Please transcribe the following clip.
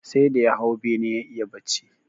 Sai da ya hau bene ya iya bacci